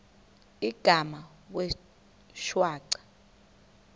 igama wee shwaca